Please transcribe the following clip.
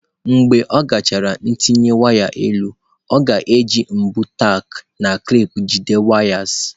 Mgbe ọ gachara ntinye waya elu, ọ ga-eji mbọ tack na clip jide wires.